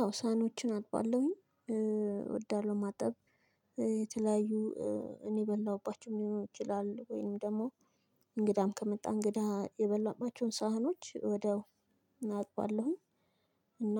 አዎ ሳኖችን አጥባለሁኝ እወዳለሁ። ማጠብ የተለያዩ እኔ የበላሁባቸው ሊሆን ይችላል። ወይም ደግሞ እንግዳም ከመጣ እንግዳ የበላሁባቸውን ሳህኖች ወዴአው አጥባለሁኝ። እና